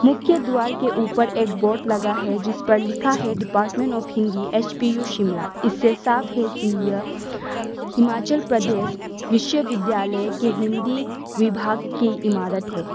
मुख्य द्वार के ऊपर एक बोर्ड लगा है जिस पर लिखा है department of Hindi H P U Shimla इससे साफ है कि यह हिमाचल प्रदेश विश्वविद्यालय के हिंदी विभाग की इमारत है।